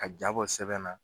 Ka ja bɔ sɛbɛn na